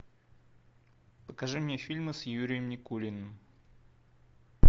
покажи мне фильмы с юрием никулиным